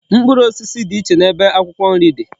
Mkpụrụ osisi di iche na ebe akwukwo nri di